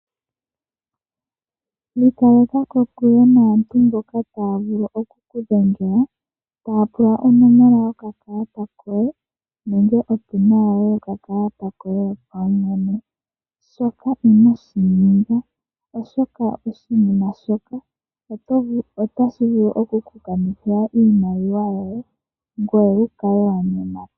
Ikaleka kokule naantu mboka taapula onomola yokakalata koye nenge opina yokakalata koye shoka inashininga oshoka oshinima shoka otashi vulu okukukanitjitha oshimaliwa shoye ngoye wukale wayemata.